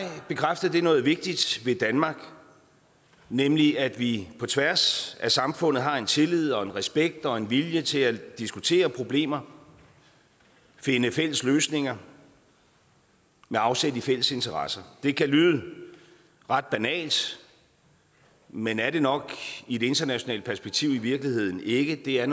bekræftede det noget vigtigt ved danmark nemlig at vi på tværs af samfundet har en tillid og en respekt og en vilje til at diskutere problemer finde fælles løsninger med afsæt i fælles interesser det kan lyde ret banalt men er det nok i et internationalt perspektiv i virkeligheden ikke det er